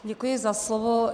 Děkuji za slovo.